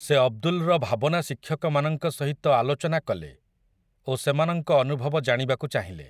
ସେ ଅବ୍‌ଦୁଲ୍‌ର ଭାବନା ଶିକ୍ଷକ ମାନଙ୍କ ସହିତ ଆଲୋଚନା କଲେ ଓ ସେମାନଙ୍କ ଅନୁଭବ ଜାଣିବାକୁ ଚାହିଁଲେ ।